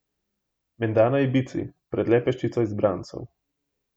Menda na Ibizi pred le peščico izbrancev.